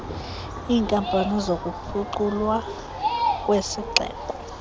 iinkampani zokuphuculwa kwezixeko